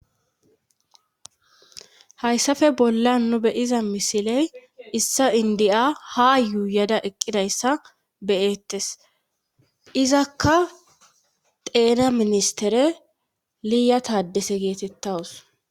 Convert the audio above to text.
hayssafe bolla nu be7iza misiley issa indiya ha yuuyada eqqidayssa be7ettes izakka xeena ministere liya taaddese geetettawus.